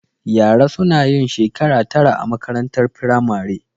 Yara suna yin shekara tara a makarantar firamare